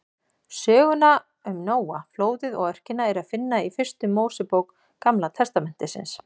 Söguna um Nóa, flóðið og örkina er að finna í fyrstu Mósebók Gamla testamentisins.